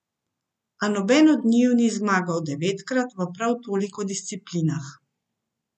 A nobeden od njiju ni zmagal devetkrat v prav toliko disciplinah.